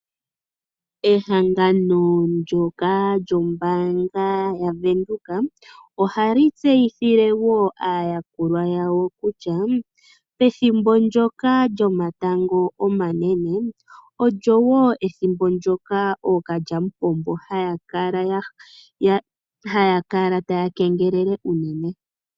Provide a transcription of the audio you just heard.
Ehangano ndyoka lyombaanga yavenduka, ohali tseyithile wo aayakulwa yawo kutya, pethimbo ndyoka lyomatango omanene, olyo wo ethimbo ndyoka ookalyamupombo haya kala taya kengelele unene.